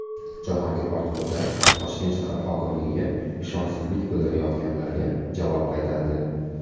Jahongir Ortiqxo‘jayev Toshkent shahar hokimligiga ishonchsizlik bildirayotganlarga javob qaytardi.